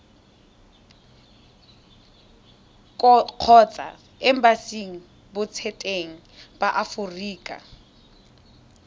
kgotsa embasing botseteng ba aforika